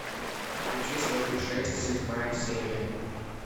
включи сваты шесть седьмая серия